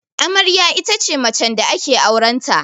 Amarya ita ce macen da ake auren ta